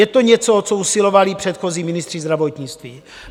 Je to něco, o co usilovali předchozí ministři zdravotnictví.